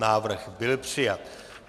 Návrh byl přijat.